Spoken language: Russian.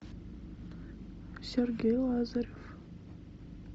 сергей лазарев